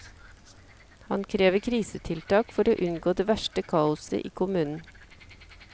Han krever krisetiltak for å unngå det verste kaoset i kommunen.